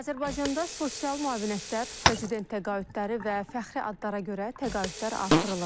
Azərbaycanda sosial müavinətlər, prezident təqaüdləri və fəxri adlara görə təqaüdlər artırılıb.